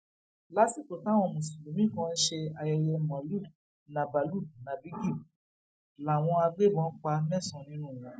lásìkò táwọn mùsùlùmí kan ń ṣe ayẹyẹ maulud nábálud nábígí làwọn agbébọn pa mẹsànán nínú wọn